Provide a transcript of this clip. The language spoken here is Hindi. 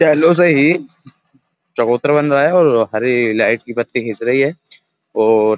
हैलो से ही चबूतर बन रहा है और हरी लाइट की बती घिस रही है और --